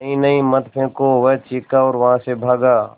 नहीं नहीं मत फेंको वह चीखा और वहाँ से भागा